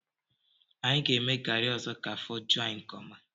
Anyị ga-eme garị ọzọ ka afọ ju anyị nke ọma